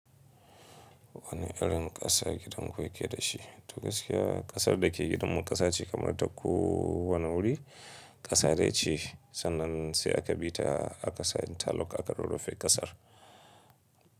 Wani irin ƙasa gidan ku yake da shi? To gaskiya ƙasar da ke gidanmu ƙasa ce kamar ta ku wane wuri ƙasa dai ce. Sannan sai aka bi ta a kasa interlock aka rorufe ƙasar.